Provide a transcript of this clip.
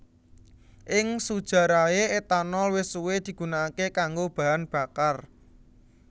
Ing sujarahé etanol wis suwé digunakaké kanggo bahan bakar